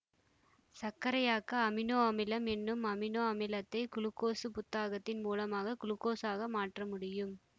சர்க்கரையாக்க amino அமிலம் என்னும் amino அமிலத்தை குளுக்கோசு புத்தாக்கத்தின் மூலமாக குளுக்கோசாக மாற்ற முடியும்